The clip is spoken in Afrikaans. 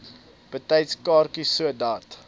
betyds kaartjies sodat